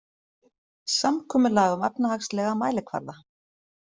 Samkomulag um efnahagslega mælikvarða